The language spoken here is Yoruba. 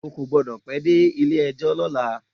O kò gbọ́dọ̀ pẹ́ dé Ilé-ẹjọ́ lọ́la.